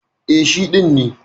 E, shi ɗin ne.